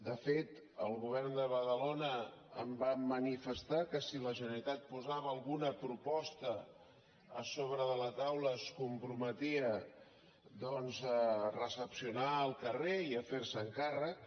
de fet al govern de badalona em van manifestar que si la generalitat posava alguna proposta a sobre de la taula es comprometia doncs a recepcionar el carrer i a ferse’n càrrec